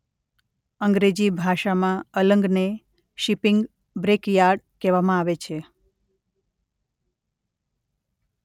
અંગ્રેજી ભાષામાં અલંગને શીપીંગ બ્રેક યાર્ડ કહેવામાં આવે છે.